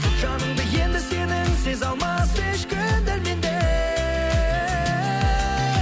жаныңды енді сенің сезе алмас ешкім дәл мендей